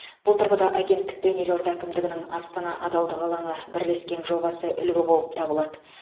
бұл тұрғыда агенттік пен елорда әкімдігінің астана адалдық алаңы бірлескен жобасы үлгі болып табылады